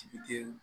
Sigi den